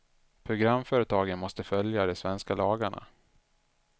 Programföretagen måste följa de svenska lagarna.